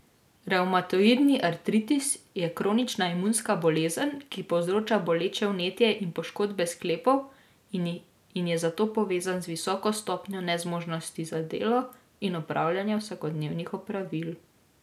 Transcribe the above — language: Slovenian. Revmatoidni artritis je kronična imunska bolezen, ki povzroča boleče vnetje in poškodbe sklepov in je zato povezan z visoko stopnjo nezmožnosti za delo in opravljanje vsakodnevnih opravil.